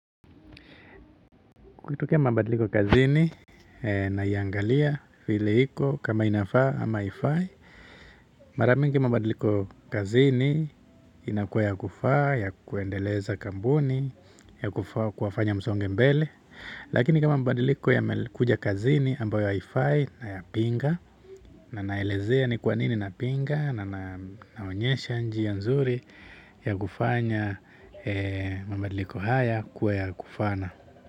Kukitokea mabadiliko kazini naiangalia vile iko kama inafaa ama haifai. Mara mingi mabadiliko kazini inakuwa ya kufaa, ya kuendeleza kampuni, ya kuwafanya msonge mbele. Lakini kama mabadiliko yamekuja kazini ambayo haifai nayapinga. Na naelezea ni kwa nini napinga na naonyesha njia nzuri ya kufanya mabadiliko haya kuwa ya kufana.